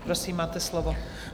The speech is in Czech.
Prosím, máte slovo.